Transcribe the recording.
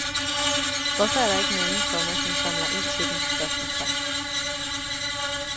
Hvorfor er der ikke nogen, komma som samler ind til dem? spørgsmålstegn